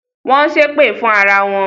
Wọn ń ṣépè fún ara wọn.